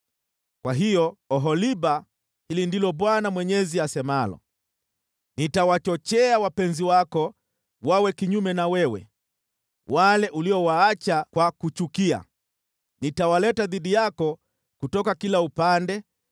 “Kwa hiyo, Oholiba, hili ndilo Bwana Mwenyezi asemalo: Nitawachochea wapenzi wako wawe kinyume na wewe, wale uliowaacha kwa kuchukia, nitawaleta dhidi yako kutoka kila upande: